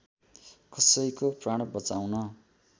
कसैको प्राण बचाउन